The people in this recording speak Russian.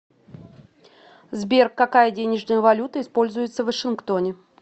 сбер какая денежная валюта используется в вашингтоне